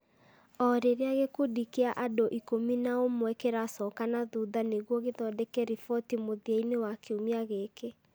o rĩrĩa gĩkundi kĩa andũ ikũmi na ũmwe kĩracoka na thutha nĩguo gĩthondeka riboti mũthia-inĩ wa kiumia gĩkĩ